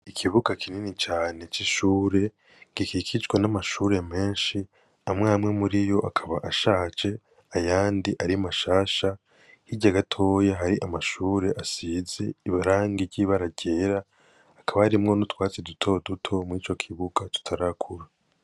Ikibuga kinini cane c'ishuri gikikijwe n'amashuri meshi amwe amwe muriyo akaba ashaje ayandi ari mashasha hirya gatoya hari amashuri asize irangi ry'ibara ryera hakaba harimwo n'utwatsi duto duto murico kibuga tutarakura.